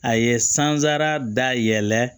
A ye sansara da yɛlɛ